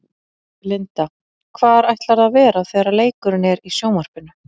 Linda: Hvar ætlarðu að vera þegar leikurinn er í sjónvarpinu?